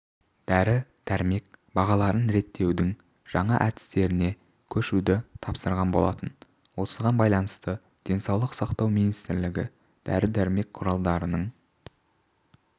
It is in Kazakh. дәрі-дәрмек бағаларын реттеудің жаңа әдістеріне көшуді тапсырған болатын осыған байланысты денсаулық сақтау министрлігі дәрі-дәрмек құралдарының